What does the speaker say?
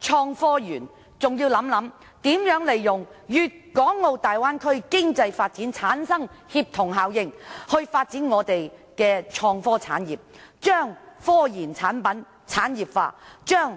創科園的相關事宜，亦要考慮如何利用粵港澳大灣區的經濟發展所產生的協同效應，以發展香港的創科產業，將科研產品產業化，將